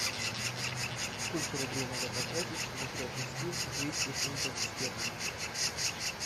сколько рублей надо потратить чтобы приобрести двести фунтов стерлингов